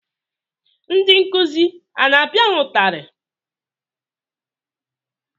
Ndị nkụzi a na-apịa ha ụtarị?